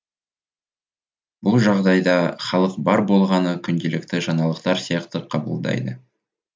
бұл жағдайда халық бар болғаны күнделікті жаңалықтар сияқты қабылдайды